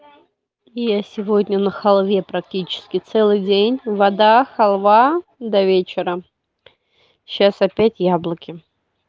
я сегодня на халве практически целый день вода халва до вечера сейчас опять яблоки